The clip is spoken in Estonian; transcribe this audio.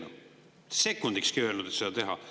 Sekundikski ei öelnud nad, et seda teha.